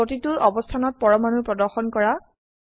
প্ৰতিটো অবস্থানত পৰমাণু প্ৰদৰ্শন কৰা